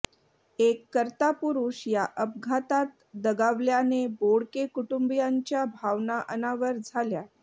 एक कर्ता पुरुष या अपघातात दगावल्याने बोडके कुटुंबियांच्या भावना अनावर झाल्या